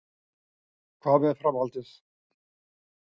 Hvað með framhaldið?